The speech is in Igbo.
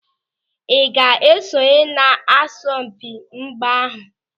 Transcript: Ị ga-esonye n'asọmpị mgba ahụ?